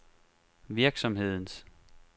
virksomhedens